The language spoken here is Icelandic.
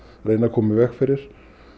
reyna að koma í veg fyrir